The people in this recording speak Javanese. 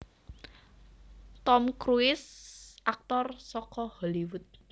Tom Cruise Aktor saka Hollywood